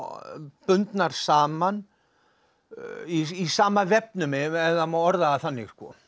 bundnar saman í sama vefnum ef það má orða það þannig